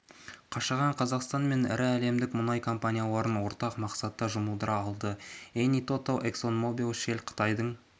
қашаған қазақстан мен ірі әлемдік мұнай компанияларын ортақ мақсатқа жұмылдыра алды эни тоталь эксонмобил шелл қытайдың